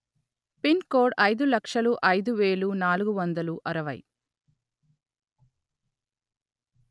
pin code అయిదు లక్షలు అయిదు వేలు నాలుగు వందలు అరవై